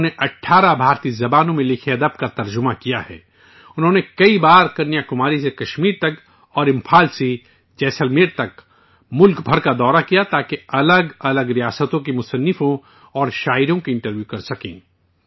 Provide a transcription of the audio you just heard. انہوں نے کئی بار کنیا کماری سے کشمیر تک اور امپھال سے جیسلمیر تک ملک بھر کے دورے کیے، تاکہ الگ الگ ریاستوں کے مصنفوں اور شعراء کے انٹرویو کر سکیں